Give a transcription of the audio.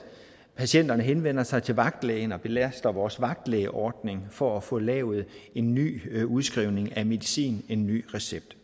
patienterne henvender sig til vagtlægen og belaster vores vagtlægeordning for at få lavet en ny udskrivning af medicin en ny recept